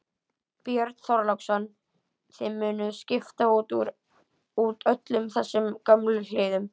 Björn Þorláksson: Þið munuð skipta út öllum þessum gömlu hliðum?